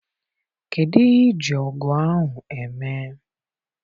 Kedụ ihe I ji ọgụ ahụ eme?